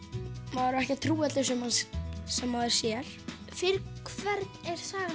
maður á ekki að trúa öllu sem sem maður sér fyrir hvern er sagan